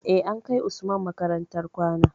Eh, an kai usman makarantar kwana